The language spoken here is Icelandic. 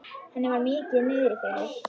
Henni var mikið niðri fyrir.